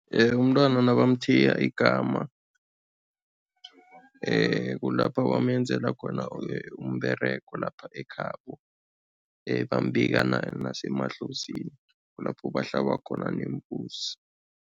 Umntwana nabamthiya igama kulapha bamenzela khona umberego lapha ekhabo, bambika nasemadlozini, kulapho bahlaba khona neembuzi.